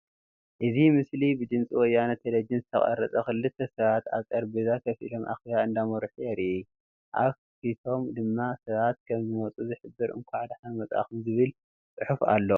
እዚ ምስሊ ብድምፂ ወያነ ቴለቪዥን ዝተቀረፀ ኮይኑ ክልተ ሰባት አብ ጠረጴዛ ከፍ ኢሎም አኬባ እንዳመርሑ የርኢ፡፡ አብ ፊቶም ድማ ሰባት ከም ዝመፁ ዝሕብር እንኳዕ ደሓን መፃኩም ዝብል ዕሑፍ አሎ፡፡